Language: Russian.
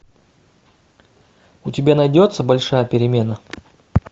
у тебя найдется большая перемена